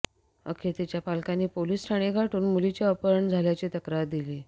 अखेर तिच्या पालकांनी पोलीस ठाणे गाठून मुलीचे अपहरण झाल्याची तक्रार दिली